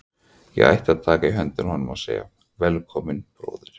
Ég ætti að taka í höndina á honum og segja: Velkominn, bróðir.